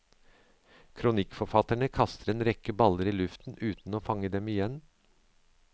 Kronikkforfatterne kaster en rekke baller i luften uten å fange dem igjen.